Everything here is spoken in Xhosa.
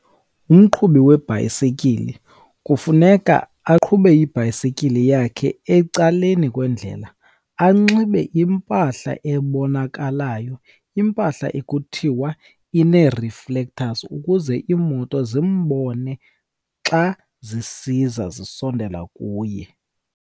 Umqhubi webhayisikile kufuneka aqhube ibhayisekile yakhe ecaleni kwendlela, anxibe impahla ebonakalayo. Impahla ekuthiwa inee-reflectors ukuze iimoto zimbone xa zisiza zisondela kuye.